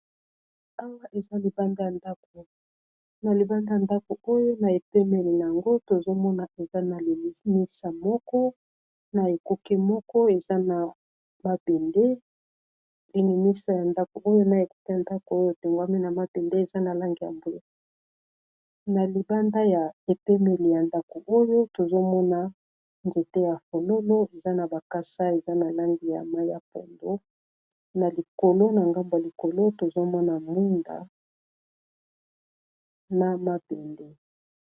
awa na libanda y ndako oyo na epemeli a yango tozomona eza na limisa mona ekuke ya ndako oyo tewm na maendetozomona nzete ya fololo eza na bakasa eza na lange ya maiya pondo na likolo na gamba likolo tozomona minga na mabende